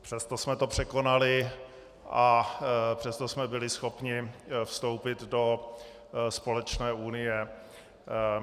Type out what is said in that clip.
Přesto jsme to překonali a přesto jsme byli schopni vstoupit do společné unie.